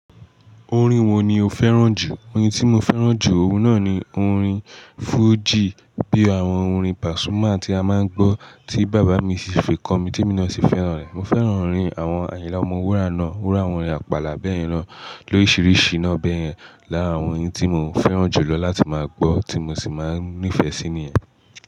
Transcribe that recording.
Orin wo ni o fẹ́ràn jù? Orin tí mo fẹ́ràn jù, òun náà ni orin fújì bí àwọn orin Pasuma tí a máa ń gbọ́ tí bàbá mi ṣe fi kọ mi tí èmi náà ṣe fẹ́ràn rẹ̀. Mo fẹ́ràn orin àwọn Ayinla Ọmọwura náà, Wura Àpàlà bẹ́ẹ̀ lọ, lóriṣiríṣi iná bẹ́ẹ̀ lọ láàárín àwọn orin tí mo fẹ́ràn jùlọ láti máa gbọ́ tí mo sì máa ń nífẹ̀ẹ́ sí i ni.